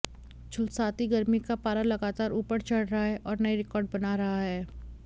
झुलसाती गर्मी का पारा लगातार ऊपर चढ़ रहा है और नए रिकॉर्ड बना रहा है